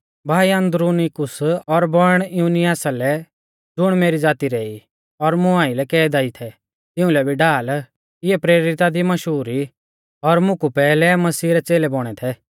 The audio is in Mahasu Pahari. भाई अन्द्रुनीकुस और बौइण युनियासा लै ज़ुण मेरी ज़ाती रै ई और मुं आइलै कैदा ई थै तिउंलै भी ढाल इऐ प्रेरिता दी मशहूर ई और मुं कु पैहलै मसीह रै च़ेलै बौणै थै